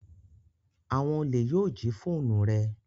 Awon ole yoo ji foonu re